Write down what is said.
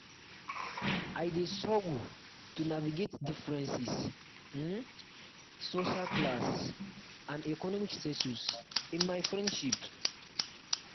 i dey struggle um to navigate differences in um social class and economic status in my friendships.